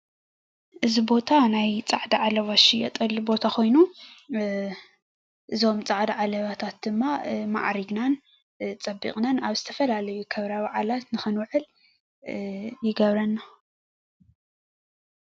እዚ ቦታ ናይ ፃዕዳ ዓለባ ዝሽየጠሉ ቦታ ኮይኑ፤ እዞም ፃዕዳ ዓለባታት ድማ ማዓሪግናን ፀቢቅናን አብ ዝተፈላለዩ ክብረ በዓላት ንክንውዕል ይገብረና፡፡